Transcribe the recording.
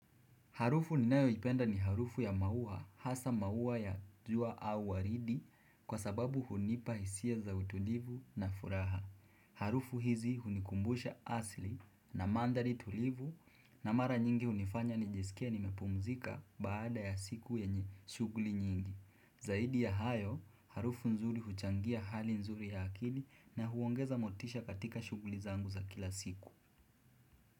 Harufu ninayoipenda ni harufu ya maua hasa maua ya jua au waridi kwa sababu hunipa hisia za utulivu na furaha. Harufu hizi hunikumbusha asili na manthari tulivu na mara nyingi hunifanya nijisikie nimepumzika baada ya siku yenye shughuli nyingi. Zaidi ya hayo, harufu nzuri huchangia hali nzuri ya akili na huongeza motisha katika shughuli zangu za kila siku.